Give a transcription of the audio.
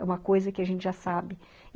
É uma coisa que a gente já sabe.